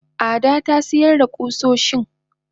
Ada tasiyar da kusoshin.